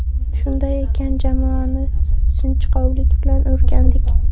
Shunday ekan jamoani sinchkovlik bilan o‘rgandik.